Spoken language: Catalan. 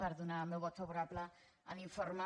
per donar el meu vot favorable a l’informe